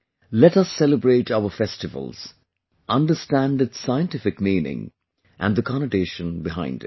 Let us celebrate our festivals, understand its scientific meaning, and the connotation behind it